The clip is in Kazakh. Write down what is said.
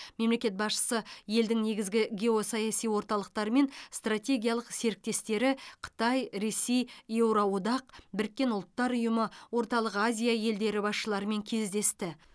мемлекет басшысы елдің негізгі геосаяси орталықтары мен стратегиялық серіктестері қытай ресей еуроодақ біріккен ұлттар ұйымы орталық азия елдері басшыларымен кездесті